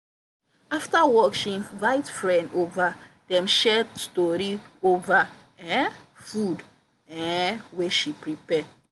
after work she invite friend over dem share story over um food um wey she prepare.